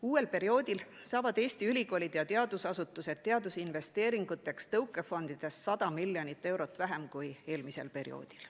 Uuel perioodil saavad Eesti ülikoolid ja teadusasutused teadusinvesteeringuteks tõukefondidest 100 miljonit eurot vähem kui eelmisel perioodil.